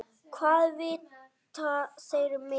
Hvað vita þeir mikið?